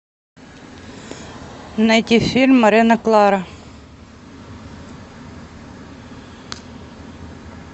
найти фильм морена клара